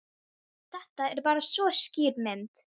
Þetta er bara svo skýr mynd.